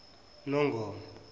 nongoma